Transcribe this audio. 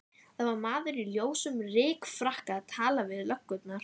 Það var maður í ljósum rykfrakka að tala við löggurnar.